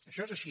això és així